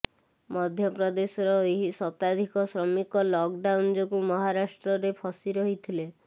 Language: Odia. ମଧ୍ୟପ୍ରଦେଶର ଏହି ଶତାଧିକ ଶ୍ରମିକ ଲକଡାଉନ ଯୋଗୁ ମହାରାଷ୍ଟ୍ରରେ ଫସି ରହିଥିଲେ